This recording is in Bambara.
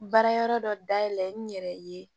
Baara yɔrɔ dɔ dayɛlɛ n yɛrɛ ye